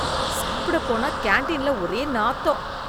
சாப்பிட போன கான்டீன்ல ஒரே நாத்தம்.